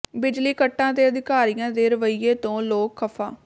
ਬਿਜਲੀ ਕੱਟਾਂ ਤੇ ਅਧਿਕਾਰੀਆਂ ਦੇ ਰਵੱਈਏ ਤੋਂ ਲੋਕ ਖਫ਼ਾ